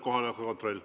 Kohaloleku kontroll.